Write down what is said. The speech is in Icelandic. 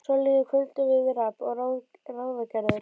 Svo líður kvöldið við rabb og ráðagerðir.